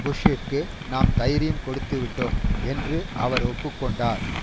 புஷ்ஷிற்கு நாம் தைரியம் கொடுத்து விட்டோம் என்றும் அவர் ஒப்பு கொண்டார்